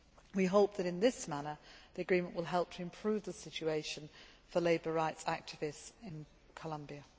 We hope that in this manner the agreement will help to improve the situation for labour rights activists in Colombia.